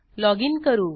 loginकरू